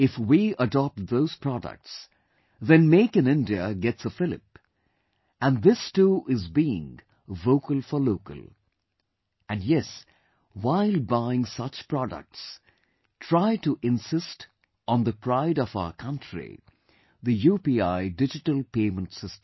If we adopt those products, then Make In India gets a fillip and this too is being 'Vocal For Local', and Yes, while buying such products, try to insist on the pride of our country, the UPI digital payment system